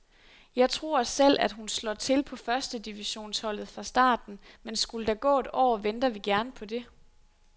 Jeg tror selv at hun slår til på første divisionsholdet fra starten, men skulle der gå et år, venter vi gerne på det.